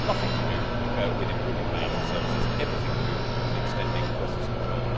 It has nothing to do with improving financial services and everything to do with extending Brussels control.